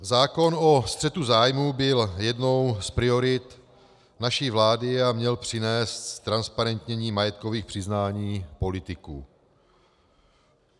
Zákon o střetu zájmů byl jednou z priorit naší vlády a měl přinést ztransparentnění majetkových přiznání politiků.